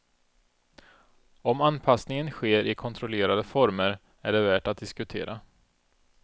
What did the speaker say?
Om anpassningen sker i kontrollerade former är det värt att diskutera.